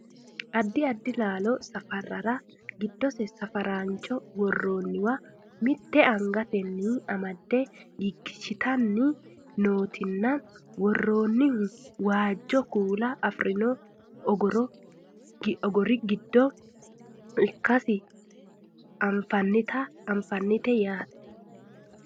addi addi laalo safarrara giddose safaraancho worroonniwa mitte angatenni amade giggishshitanni nootinna worroonihuno waajjo kuula afirino ogori giddo ikkasi anfannite yaate